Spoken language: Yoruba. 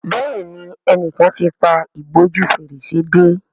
Béèni enìkan t'in pá ìbòjú Fèrèsé dé.